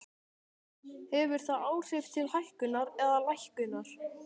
Hefur það áhrif til hækkunar eða lækkunar?